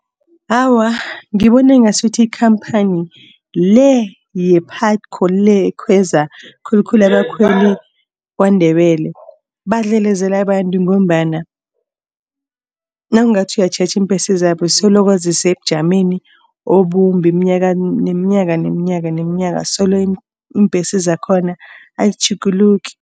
Awa, ngibona ngasuthi ikhamphani le ye-Putco le ekhweza khulukhulu abakhweli kwaNdebele badlelezela abantu. Ngombana nawungathi uyatjheja, iimbhesi zabo solokhu zisebujameni obumbi minyaka neminyaka solo iimbhesi zakhona azitjhuguluki.